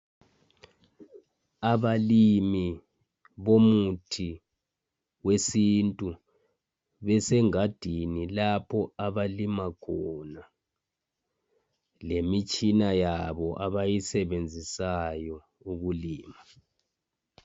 Abalimi bomuthi wesintu besenhgadini lapho abalima khona. Lemitshina yabo abayisebenzisayo ukulima.